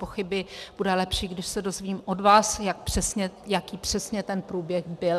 Bezpochyby bude lepší, když se dozvím od vás, jaký přesně ten průběh byl.